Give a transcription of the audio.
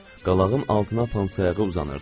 Qalağın altına pansayağı uzanırdı.